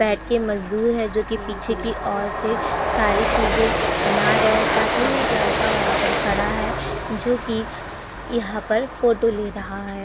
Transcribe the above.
बैठ के मजदूर हैं जो कि पीछे की ओर से सारी चीजें बना रहे हैं। साथ ही में एक लड़का वहाँ पर खड़ा है जो कि यहाँ पर फोटो ले रहा है।